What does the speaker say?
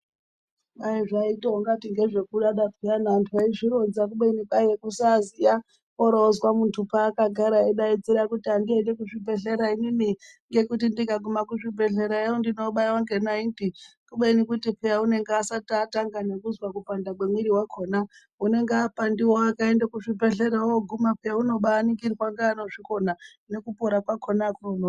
Daizvaitongati ngezvekudada pheyani antu aizvironza kubeni kwaitonga kusaziya woroozwa muntu paakagara orodaidzira kuti andiendi kuzvibhedhlera inini ngekuti ndikaguma kuzvibhedhlerayo ndinobayiwa ngenaiti kubeni kuti pheya unenge asati atanga nekuzwa kupanda kwemwiri wakhona unenge apandiwa akaenda kuzvibhedhleya unobaningirwa neanozvikona nekupora kwakhona akunonoki.